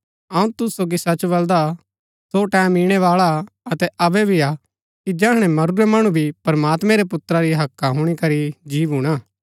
अऊँ तुसू सोगी सच बलदा सो टैमं इणै बाळा अतै अबै भी हा कि जैहणै मरूरै मणु भी प्रमात्मैं रै पुत्रा री हक्का हुणी करी जी भूणा